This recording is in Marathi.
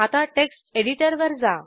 आता टेक्स्ट एडिटरवर जा